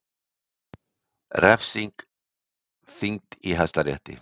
Refsing þyngd í Hæstarétti